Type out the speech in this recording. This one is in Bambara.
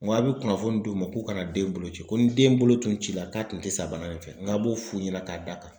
N ko a' bɛ kunnafoni d'u ma k'u ka na den bolo ci ko ni den bolo tun ci la k'a tun tɛ sa bana in fɛ nk'a b'o f'u ɲɛna k'a d'a kan.